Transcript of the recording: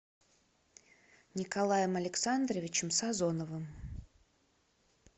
николаем александровичем сазоновым